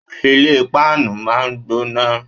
Ilé páànù máa ń gbóná